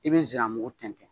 I bɛ nsiramugu tɛntɛn